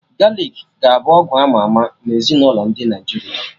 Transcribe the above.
Galik ka ga abụ ọgwụ ama ama nMezinụlọ ndị Naịjirịa